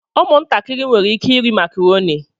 Ụmụntakịrị nwere ike ịrị makarọni.